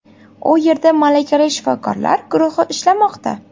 U yerda malakali shifokorlar guruhi ishlamoqda.